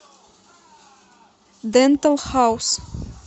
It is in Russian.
дентал хаус